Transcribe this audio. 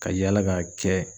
Ka yaala k'a kɛ